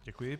Děkuji.